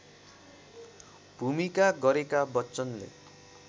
भूमिका गरेका बच्चनले